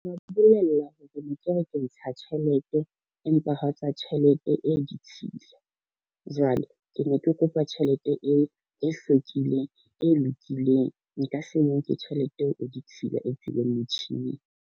Bolella hore ne ke re ke ntsha tjhelete, empa ha tswa tjhelete e ditshila. Jwale ke ne ke kopa tjhelete e hlwekileng, e lokileng. Nka se e nke tjhelete eo e ditshila e tswileng motjhining.